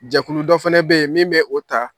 Jɛkulu dɔ fɛnɛ bɛ yen min bɛ o ta